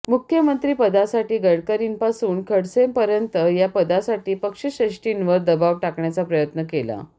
मुख्यमंत्रीपदासाठी गडकरींपासून खडससेंपर्यंत या पदासाठी पक्षश्रेष्ठींवर दबाव टाकण्याचा प्रयत्न केला